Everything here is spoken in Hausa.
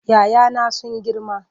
"ya 'ya na sun girma.